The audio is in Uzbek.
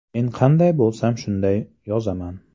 Men qanday bo‘lsam shunday yozaman.